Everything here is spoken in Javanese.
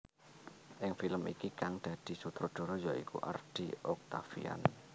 Ing film iki kang dadi sutradara ya iku Ardy Octaviand